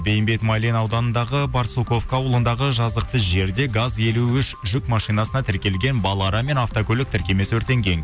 бейімбет майлин ауданындағы барсуковка ауылындағы жазықты жерде газ елу үш жүк машинасына тіркелген балара мен автокөлік тіркемесі өртенген